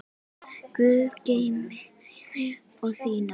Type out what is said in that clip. Guð geymi þig og þína.